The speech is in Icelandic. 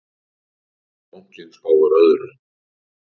Bankinn spáir öðru.